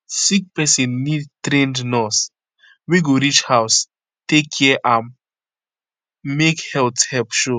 sick person need trained nurse wey go reach house take care am make health help show